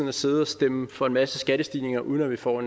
at sidde og stemme for en masse skattestigninger uden at vi får